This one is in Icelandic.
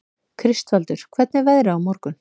Kristvaldur, hvernig er veðrið á morgun?